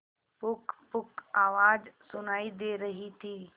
पुकपुक आवाज सुनाई दे रही थी